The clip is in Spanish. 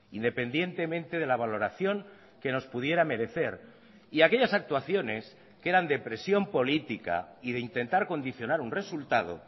independientemente de la valoración que nos pudiera merecer y aquellas actuaciones que eran de presión política y de intentar condicionar un resultado